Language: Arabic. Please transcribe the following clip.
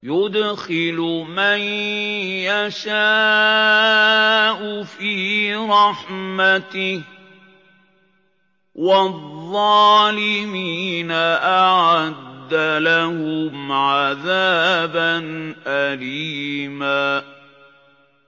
يُدْخِلُ مَن يَشَاءُ فِي رَحْمَتِهِ ۚ وَالظَّالِمِينَ أَعَدَّ لَهُمْ عَذَابًا أَلِيمًا